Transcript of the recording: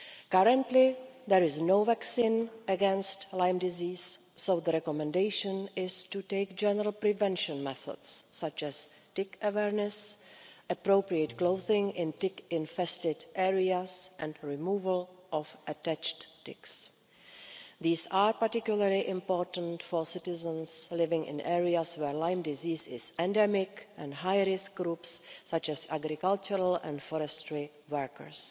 Currently, there is no vaccine against Lyme disease so the recommendation is to take general prevention methods, such as tick awareness, appropriate clothing in tick infested areas and the removal of attached ticks. These are particularly important for citizens living in areas where Lyme disease is endemic and high risk groups, such as agricultural and forestry workers.